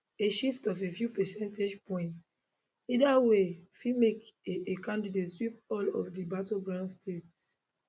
a shift of a few percentage points either way fit make a a candidate sweep all of di battleground states